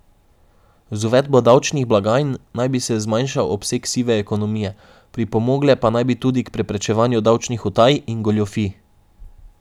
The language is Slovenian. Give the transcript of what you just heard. Z uvedbo davčnih blagajn naj bi se zmanjšal obseg sive ekonomije, pripomogle pa naj bi tudi k preprečevanju davčnih utaj in goljufij.